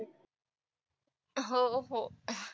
हो हो.